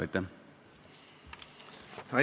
Aitäh!